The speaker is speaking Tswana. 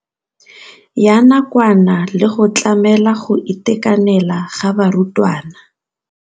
Ya nakwana le go tlamela go itekanela ga barutwana.